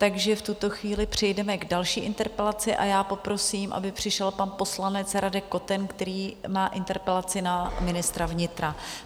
Takže v tuto chvíli přejdeme k další interpelaci a já poprosím, aby přišel pan poslanec Radek Koten, který má interpelaci na ministra vnitra.